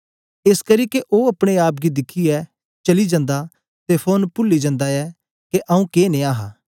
एसकरी के ओ अपने आप गी दिखियै चली जन्दा ते फौरन पूली जन्दा ऐ के आऊँ के नेया हा